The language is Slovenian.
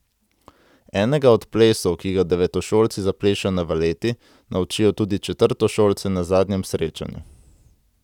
Enega od plesov, ki ga devetošolci zaplešejo na valeti, naučijo tudi četrtošolce na zadnjem srečanju.